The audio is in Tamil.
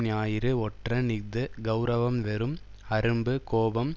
ஞாயிறு ஒற்றன் இஃது கெளரவம் வெறும் அரும்பு கோபம்